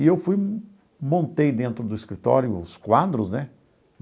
E eu fui, montei dentro do escritório os quadros, né?